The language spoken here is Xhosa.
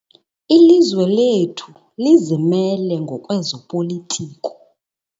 Ilizwe lethu lizimele ngokwezopolitiko.